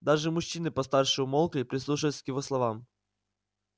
даже мужчины постарше умолкли прислушиваясь к его словам